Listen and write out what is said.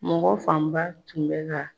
Mɔgɔ fanba tun bɛ ka